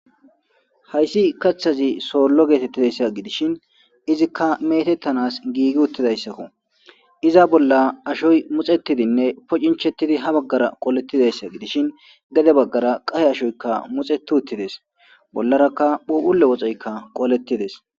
Hayssi kaathazi solo getetizaysa gidishin izika metettanas gigi utidayssakko. Iza bolla Ashoy muc'cetidinne inchetidi ha baggara qoletidees gidishin gede bagara qaye ashoyikka muc'ceti utidees. Bollaraka phuphulle woxeyikka qoletidees.